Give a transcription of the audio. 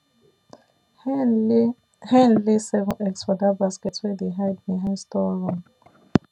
hen lay hen lay seven eggs for that basket wey dey hide behind storeroom